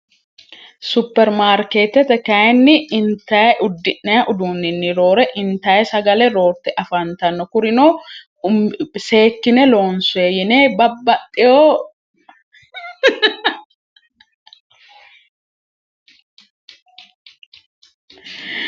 supermaarkeetete kayinni intaye uddi'nae uduunninni roore intaye sagale roorte afaantanno kurinoo seekkine loonsue yine babbaxxeyoo